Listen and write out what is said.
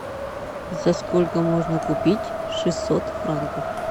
за сколько можно купить шестьсот франков